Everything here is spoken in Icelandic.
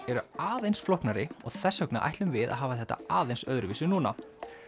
eru aðeins flóknari og þess vegna ætlum við að hafa þetta aðeins öðruvísi núna